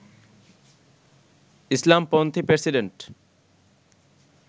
ইসলামপন্থী প্রেসিডেন্ট